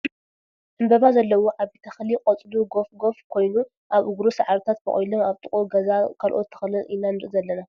ዕምበባ ዘለዎ ዓብይ ተክሊ ቆፅሉ ጎፍ ጋፍ ኮይኑ ኣብ እግሩ ሳዕርታት ቦቂሎም ኣብ ጥቅኡ ገዛ ካልኦት ተክልን ኢና ንርኢ ዘለና ።